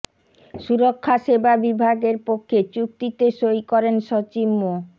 সুরক্ষা সেবা বিভাগের পক্ষে চুক্তিতে সই করেন সচিব মো